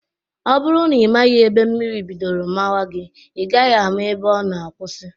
Ọ bụrụ na ị maghị ebe mmiri bidoro mawa gị, ị gaghị ama ebe ọ nọ kwụsị